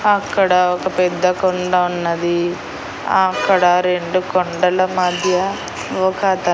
అక్కడ ఒక పెద్ద కొండ ఉన్నది అక్కడ రెండు కొండల మధ్య ఒక అతను.